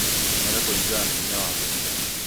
Tũmĩra kũringana na hinya waku